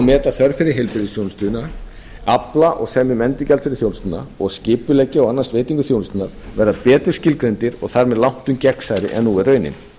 meta þörf fyrir heilbrigðisþjónustu afla og semja um endurgjald fyrir þjónustuna og skipuleggja og annast veitingu þjónustunnar verða betur skilgreindir og þar með langtum gegnsærri en nú er raunin